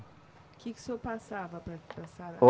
O que que o senhor passava para para sarar?